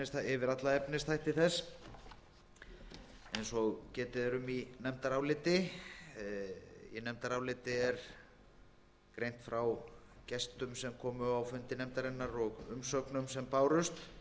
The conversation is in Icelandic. yfir alla efnisþætti þess eins og getið er um í nefndaráliti í nefndaráliti er greint frá gestum sem komu á fundi nefndarinnar og umsögnum er bárust